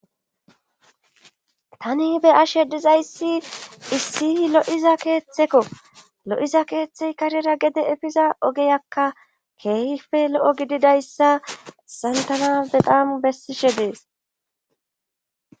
tani be ashe dizayssi issi lo7iza keeththekko lo7iza keeththey karera gede efiza ogeyakka keehife lo7o gididayssa hayisan tana betam bessishe dees